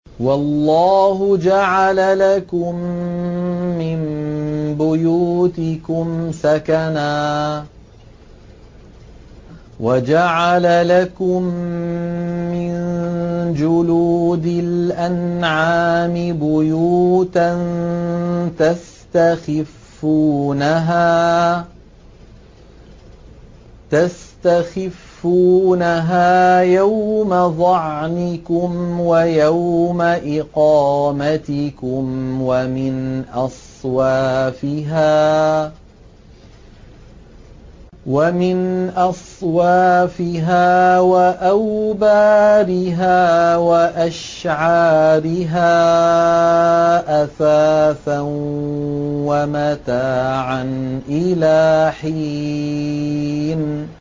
وَاللَّهُ جَعَلَ لَكُم مِّن بُيُوتِكُمْ سَكَنًا وَجَعَلَ لَكُم مِّن جُلُودِ الْأَنْعَامِ بُيُوتًا تَسْتَخِفُّونَهَا يَوْمَ ظَعْنِكُمْ وَيَوْمَ إِقَامَتِكُمْ ۙ وَمِنْ أَصْوَافِهَا وَأَوْبَارِهَا وَأَشْعَارِهَا أَثَاثًا وَمَتَاعًا إِلَىٰ حِينٍ